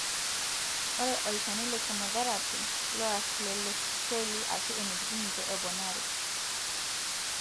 ore olchani le chemotherapy loarr lelo seli ashu emitiki ninche eponari.